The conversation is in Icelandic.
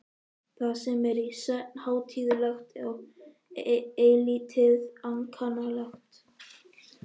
Það er í senn hátíðlegt og eilítið ankannalegt.